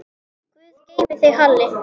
Guð geymi þig, Halli.